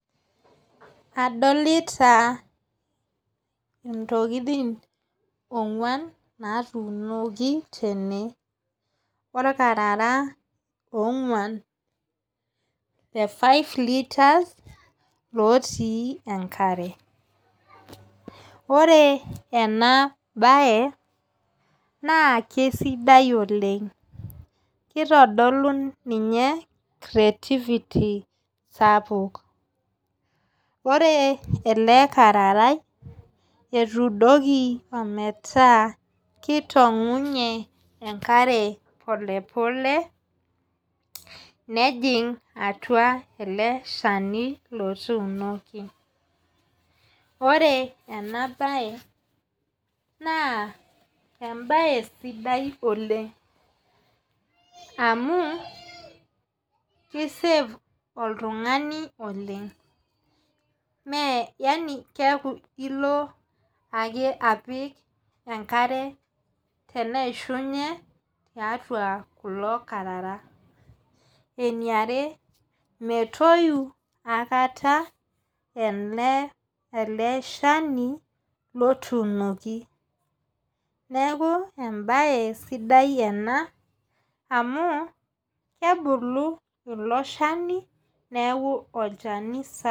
Adolita ntokitin oonguan natuunoki tene. olkarara oonguan le five litres otii enkare, ore ena bae naa kesidai oleng. kitodolu ninye creatity sapuk ore ele kararai etuudoki ometaa kitong'unye enkare polepole nejing atua ele Shani lotuunoki, ore ena bae naa ebae sidai Oleng. amu ki save oltungani oleng. mme yaani keeku ilo ake apik enkare teneishunye tiatua kulo kararai. eniare metoyu aikata ele Shani lotuunoki. neekj ebae sidai ena amu kebulu ilo Shani neeku olchani sapuk.